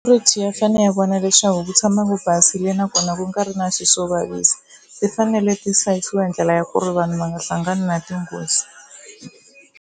ya fanele ya vona leswaku ku tshama ku basile nakona ku nga ri na swi swo vavisa ti fanele ti hlayisiwa hi ndlela ya ku ri vanhu va nga hlangani na tinghozi.